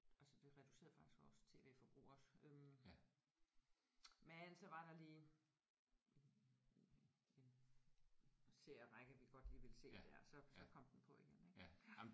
Altså vi reducerede faktisk vores tv-forbrug også øh men så var der lige en en serierække vi godt lige ville se der så så kom den på igen ik ja